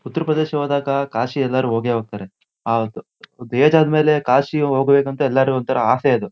ಉತ್ತರ ಪ್ರದೇಶ ಹೋದಾಗ ಕಾಶಿ ಎಲ್ಲರೂ ಹೋಗೆ ಹೋಗ್ತಾರೆ. ಆ ಆಹ್ಹ್ ಏಜ್ ಆದ್ಮೇಲೆ ಕಾಶಿ ಹೋಗ್ಬೇಕು ಅಂತ ಎಲ್ಲರಿಗೂ ಒಂತರ ಆಸೆ ಅದು.